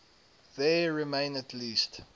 there remain at least